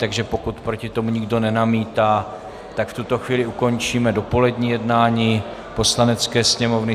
Takže pokud proti tomu nikdo nenamítá, tak v tuto chvíli ukončíme dopolední jednání Poslanecké sněmovny.